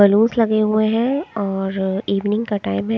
balloons लगे हुए है और इवनिग का टाइम है--